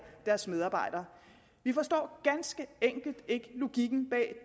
deres medarbejdere vi forstår ganske enkelt ikke logikken bag